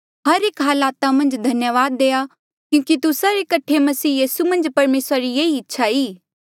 हर एक हलाता मन्झ धन्यावाद देआ क्यूंकि तुस्सा रे कठे मसीह यीसू मन्झ परमेसरा री येही इच्छा ई